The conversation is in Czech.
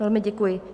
Velmi děkuji.